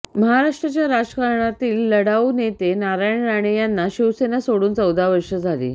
महाराष्ट्राच्या राजकारणातील लढाऊ नेते नारायण राणे यांना शिवसेना सोडून चौदा वर्षे झाली